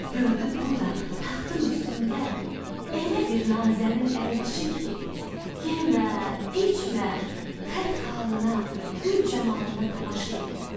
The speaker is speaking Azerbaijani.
Gördü burda taxtın üstündə elə bir nazənin əyləşib ki, yemə, içmə, xət xalına, gül camalına tamaşa elə.